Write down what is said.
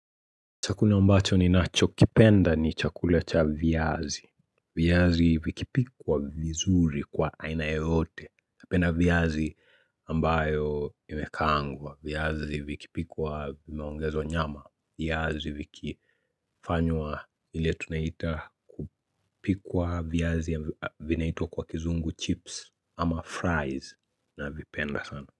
Chakula ambacho ni nacho, kipenda ni chakula cha viazi. Viazi vikipikwa vizuri kwa aina yeyote. Penda viazi ambayo imekaangwa, viazi vikipikwa vimeongezwa nyama, viazi vikifanywa ile tunaita kupikwa viazi vinaitwa kwa kizungu chips ama fries na vipenda sana.